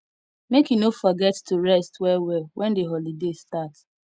make you no forget to rest wellwell wen di holiday start